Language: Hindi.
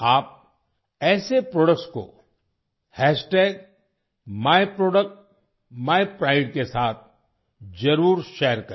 आप ऐसे प्रोडक्ट्स को myप्रोडक्ट्सmypride के साथ जरूर शेयर करें